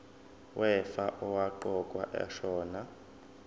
wefa owaqokwa ashona